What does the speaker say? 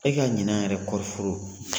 E ka ɲinan yɛrɛ kɔɔri foro